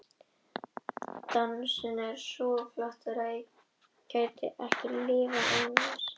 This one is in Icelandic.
Dansinn löngu útvatnaður samkvæmisleikur, lögformlegt tæki kynjanna til að nálgast hvort annað.